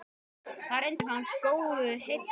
Þar reyndist hann góðu heilli sannspár.